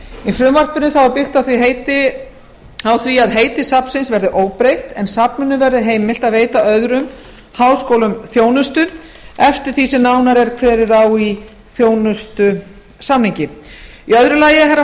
í frumvarpinu er byggt á því að heiti safnsins verði óbreytt en safninu verði heimilt að veita öðrum háskólum þjónustu eftir því sem nánar er kveðið á um í þjónustusamningi